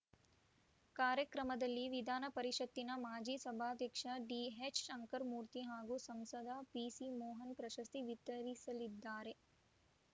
ಕಾರ್ಯಕ್ರಮದಲ್ಲಿ ವಿಧಾನಪರಿಷತ್ತಿನ ಮಾಜಿ ಸಭಾಧ್ಯಕ್ಷ ಡಿಎಚ್‌ಶಂಕರಮೂರ್ತಿ ಹಾಗೂ ಸಂಸದ ಪಿಸಿಮೋಹನ್‌ ಪ್ರಶಸ್ತಿ ವಿತರಿಸಲಿದ್ದಾರೆ